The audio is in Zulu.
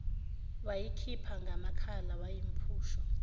wayikhipha ngamakhala yawumphusho